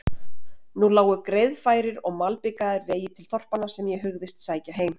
Nú lágu greiðfærir og malbikaðir vegir til þorpanna sem ég hugðist sækja heim